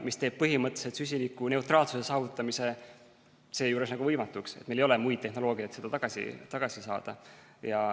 See teeb põhimõtteliselt süsinikuneutraalsuse saavutamise seejuures nagu võimatuks, et meil ei ole muud tehnoloogiat, et seda tagasi saada.